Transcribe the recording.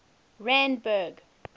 randburg